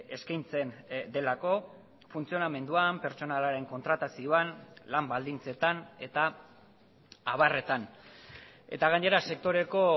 eskaintzen delako funtzionamenduan pertsonalaren kontratazioan lan baldintzetan eta abarretan eta gainera sektoreko